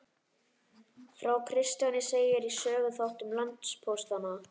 Frá Kristjáni segir í Söguþáttum landpóstanna.